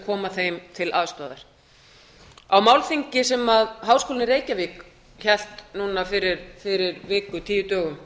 koma þeim til aðstoðar á málþingi sem háskólinn í reykjavík hélt núna fyrir viku eða tíu dögum